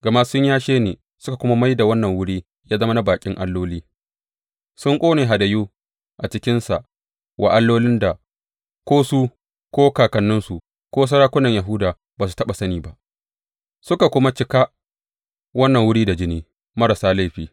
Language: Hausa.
Gama sun yashe ni suka kuma mai da wannan wuri ya zama na baƙin alloli; sun ƙone hadayu a cikinsa wa allolin da ko su ko kakanninsu ko sarakunan Yahuda ba su taɓa sani ba, suka kuma cika wannan wuri da jini marasa laifi.